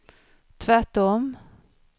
tvärtom